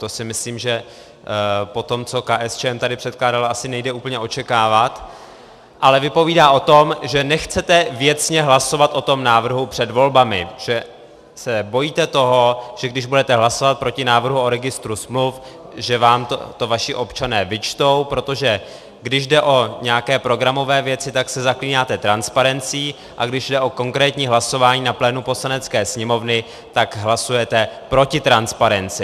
To si myslím, že po tom, co KSČM tady předkládala, asi nejde úplně očekávat, ale vypovídá o tom, že nechcete věcně hlasovat o tom návrhu před volbami, že se bojíte toho, že když budete hlasovat proti návrhu o registru smluv, že vám to vaši občané vyčtou, protože když jde o nějaké programové věci, tak se zaklínáte transparencí, a když jde o konkrétní hlasování na plénu Poslanecké sněmovny, tak hlasujete proti transparenci.